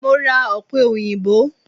Mo ra Ọ̀pẹ èyìǹbó.